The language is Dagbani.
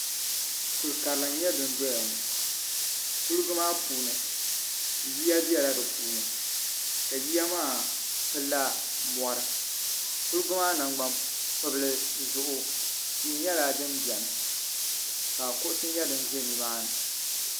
Kuli karili n nyɛ din dɔya ŋɔ kuliga maa puuni yiya bɛla di puuni ka yiya maa pili la mɔri kuliga maa nangban pibli zuɣu tia nyɛla din bɛni ka kuɣusi nyɛ din ʒɛ ni maa ni.